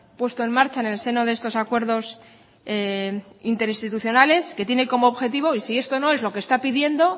puesto en marcha en el seno de estos acuerdos interinstitucionales que tiene como objetivo y si esto no es lo que está pidiendo